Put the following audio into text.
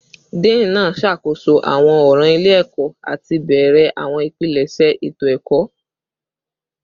Dean naa ṣakoso awọn ọran ile-ẹkọ ati bẹrẹ awọn ipilẹṣẹ eto-ẹkọ